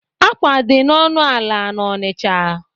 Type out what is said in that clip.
Akwa dị ọnụ ala n'Onicha